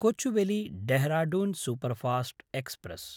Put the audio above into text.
कोचुवेली–ढेहराढून superfast express